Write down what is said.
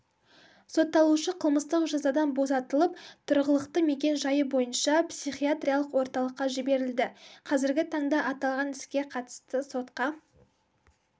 сотталушы қылмыстық жазадан босатылып тұрғылықты мекен-жайы бойынша психиатриялық орталыққа жіберілді қазіргі таңда аталған іске қатысты сотқа